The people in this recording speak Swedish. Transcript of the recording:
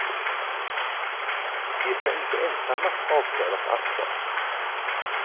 De ska inte ensamma avkrävas ansvar.